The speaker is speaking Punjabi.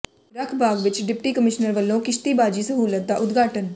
ਰੱਖ ਬਾਗ ਵਿਚ ਡਿਪਟੀ ਕਮਿਸ਼ਨਰ ਵਲੋਂ ਕਿਸ਼ਤੀਬਾਜ਼ੀ ਸਹੂਲਤ ਦਾ ਉਦਘਾਟਨ